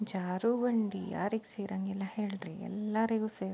ಜಾರು ಬಂಡಿ ಯಾರಿಗೆ ಸೆರಂಗಿಲ್ಲ ಹೆಲ್ಡ್ರಿ ಎಲ್ಲರಿಗೂ ಸೆರ್ --